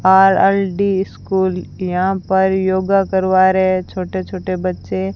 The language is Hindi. आर_एल_डी स्कूल यहां पर योगा करवा रहे हैं छोटे छोटे बच्चे--